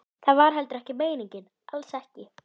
Úti var hann er ég fór inn.